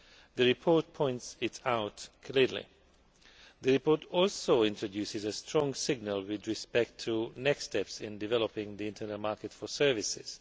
The report points it out clearly. The report also introduces a strong signal with respect to the next steps in developing the internal market for services.